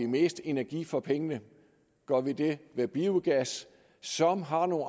mest energi for pengene gør vi det ved biogas som har